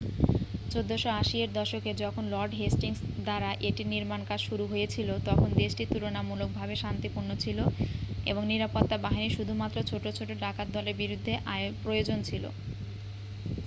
1480 এর দশকে যখন লর্ড হেস্টিংস দ্বারা এটির নির্মাণকাজ শুরু হয়েছিল তখন দেশটি তুলনামূলকভাবে শান্তিপূর্ণ ছিল এবং নিরাপত্তা বাহিনী শুধুমাত্র ছোট ছোট ডাকাতদলের বিরুদ্ধে প্রয়োজন ছিল